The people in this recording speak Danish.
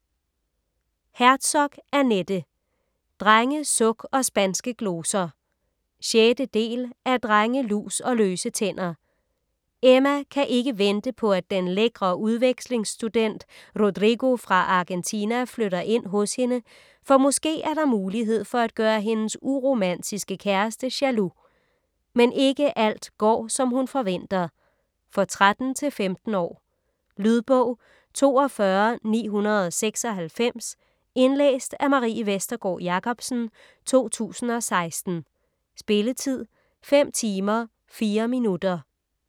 Herzog, Annette: Drenge, suk & spanske gloser 6. del af Drenge, lus & løse tænder. Emma kan ikke vente på at den lækre udvekslingsstudent Rodrigo fra Argentina flytter ind hos hende, for måske er der mulighed for at gøre hendes uromantiske kæreste jaloux. Men ikke alt går, som hun forventer. For 13-15 år. Lydbog 42996 Indlæst af Marie Vestergård Jacobsen, 2016. Spilletid: 5 timer, 4 minutter.